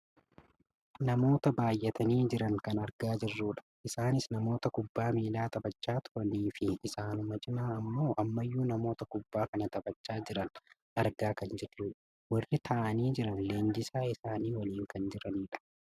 Namoota baayyatanii jiran argaa kan jirrudha. Isaanis namoota kubbaa miilaa taphachaa turaniifi isaanuma cinaan ammoo ammayyuu namoota kubbaa kana taphachaa jiran argaa kan jirrudha. Warri taa'anii jiran leenjisaa isaanii waliin kan jiranidha.